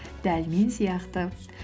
дәл мен сияқты